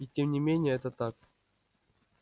и тем не менее это так